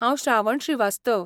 हांव श्रावण श्रीवास्तव.